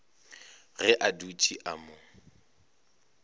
ge a dutše a mo